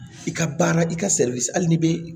I ka baara i ka hali n'i bɛ